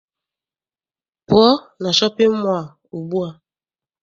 Pụọ na shọpịn mọọ a ugbua!